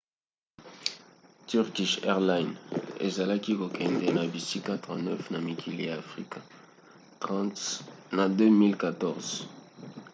turkish airlines ezalaki kokende na bisika 39 na mikili ya afrika 30 na 2014